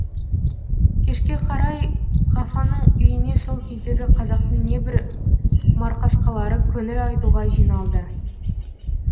кешке қарай ғафаңның үйіне сол кездегі қазақтың небір марқасқалары көңіл айтуға жиналды